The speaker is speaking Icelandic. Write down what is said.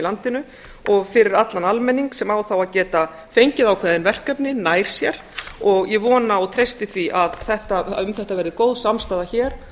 landinu og fyrir allan almenning sem á þá að geta fengið ákveðin verkefni nær sér og ég vona og treysti því að um þetta verði góð samstaða hér